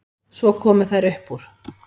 Svo komu þær upp úr.